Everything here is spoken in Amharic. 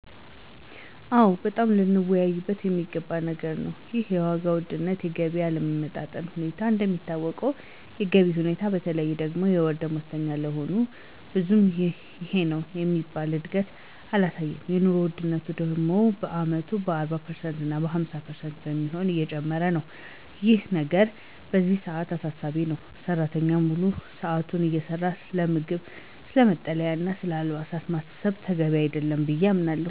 ኦ! በጣም ልንወያይበት የሚገባው ነገር ነው ይሄ የዋጋ ውድነትና የገቢ አለመጣጣም ሁኔታ። እንደሚታወቀው የገቢው ሁኔታ በተለይም ደግሞ የወር ደሞዝተኛ ለሆኑት ብዙም ይሄነው የሚባል እድገት አላሳየም። የኑሮ ወድነቱ ደግሞ በየአመቱ 40% እና 50% በሚሆን እየጨመረ ነው። እና ይህ ነገር በዚህ ሰዓት አሳሳቢ ነው። ሰራተኛው ሙሉ ሰዓቱን እየሰራ ስለምግብ፣ ስለ መጠለያና ስለ አልባሳት ማሰብ ተገቢ አይደለም ብየ አምናለሁ።